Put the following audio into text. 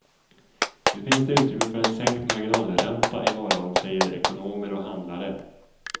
Nu finns det utrymme för en sänkt marginalränta i morgon, säger ekonomer och handlare.